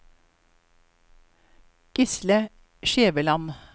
Gisle Skjæveland